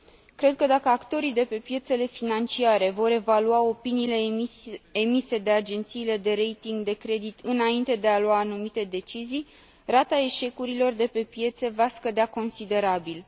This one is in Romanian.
Cred că, dacă actorii de pe piețele financiare vor evalua opiniile emise de agențiile de rating de credit înainte de a lua anumite decizii, rata eșecurilor de pe piețe va scădea considerabil.